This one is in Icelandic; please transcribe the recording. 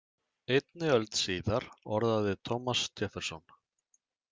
Einni öld síðar orðaði Thomas Jefferson.